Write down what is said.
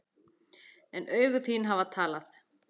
En augu þín hafa talað.